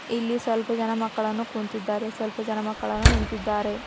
ಇಲ್ಲಿ ಸ್ವಲ್ಪ ಜನ ಮಕ್ಕಳನ್ನು ಕುಂತಿದ್ದಾರೆ ಸ್ವಲ್ಪ ಜನ ಮಕ್ಕಳನ್ನು ನಿಂತಿದ್ದಾರೆ.